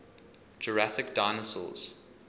jurassic dinosaurs